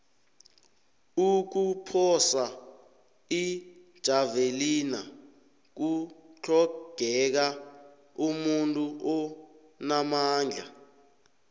ukuphosa ijavelina kutlhogeka umuntu onamandla